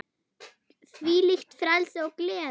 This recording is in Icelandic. Þvílíkt frelsi og gleði.